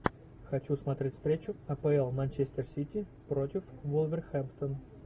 хочу смотреть встречу апл манчестер сити против вулверхэмптон